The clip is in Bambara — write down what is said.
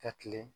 Ka tilen